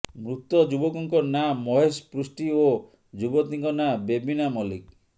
ମୃତ ଯୁବକଙ୍କ ନାଁ ମହେଶ ପୃଷ୍ଟି ଓ ଯୁବତୀଙ୍କ ନାଁ ବେବିନା ମଲ୍ଲିକ